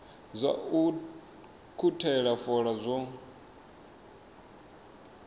zwa u ukhuthela fola zwo